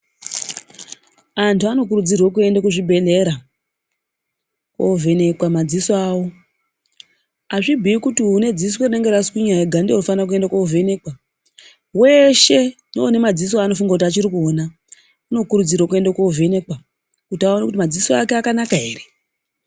Antu anokurudzirwa kuenda kuzvibhedhlera kundovhenekwa madziso awo. Azvibhuyi kuti ane dziso rinenge raswinya ega ndiye anofana kuenda kundovhenekwa, weshe neune madziso wanofunga kuti achiri kuona anokurudzirwa aende kundovhenekwa kuti aone kuti madziso ake akanaka here.